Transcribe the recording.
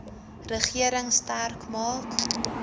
regering sterk maak